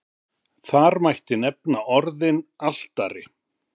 þar mætti nefna orðin altari